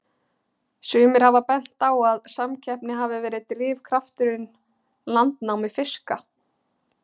Sumir hafa bent á að samkeppni hafi verið drifkrafturinn landnámi fiska.